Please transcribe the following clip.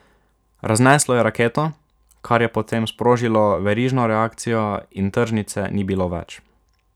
Razneslo je raketo, kar je potem sprožilo verižno reakcijo in tržnice ni bilo več.